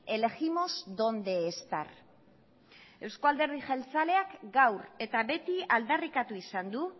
elegimos dónde estar eusko alderdi jeltzaleak gaur eta beti aldarrikatu izan du